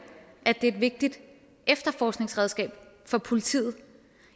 at det er et vigtigt efterforskningsredskab for politiet